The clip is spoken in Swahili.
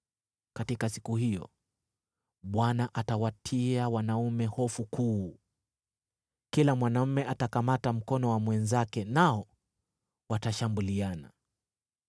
Katika siku hiyo Bwana atawatia wanaume hofu kuu. Kila mwanaume atakamata mkono wa mwenzake nao watashambuliana.